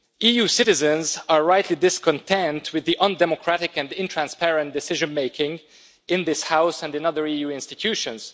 EU citizens are rightly discontent with the undemocratic and intransparent decision making in this House and in other EU institutions.